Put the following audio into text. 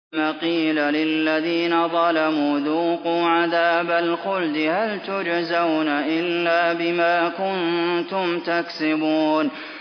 ثُمَّ قِيلَ لِلَّذِينَ ظَلَمُوا ذُوقُوا عَذَابَ الْخُلْدِ هَلْ تُجْزَوْنَ إِلَّا بِمَا كُنتُمْ تَكْسِبُونَ